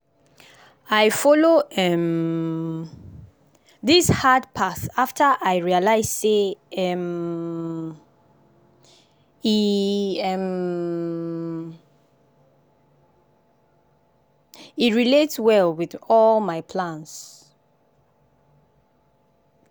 i follow um this hard path after i realize say um e um e relate well with all my plans.